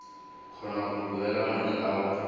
kgona go duela madi ao